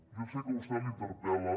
jo sé que a vostè l’interpel·la